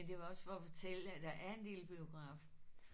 Men det var også for at fortælle at der er en lille biograf